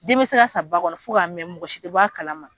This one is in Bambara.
Den mi se ka sa ba kɔnɔ fo k'a mɛ mɔgɔsi tɛ kalama.